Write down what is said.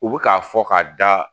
U bɛ k'a fɔ k'a da